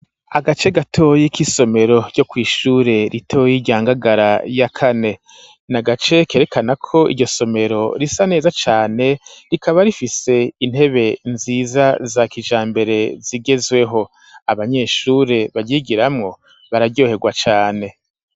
Agace gatoyi k'isomero ryo kw'ishure ritoye rya Ngagara ya kane na gace kerekana ko iryo somero risa neza cane rikaba rifise intebe nziza za kijambere zigezweho abanyeshure baryigiramwo bararyoherwa cane.